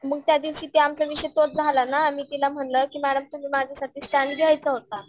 मग त्या दिवशी आमचा विषय तोच झाला ना मी तिला म्हणलं की मॅडम तुम्ही माझ्या साठी स्टॅन्ड घ्यायचा होता.